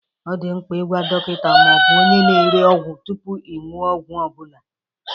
Ọ dị mkpa ịgwa dọkịta ma ọ bụ onye na-ere ọgwụ tupu ị ṅụo ọgwụ ọ bụla.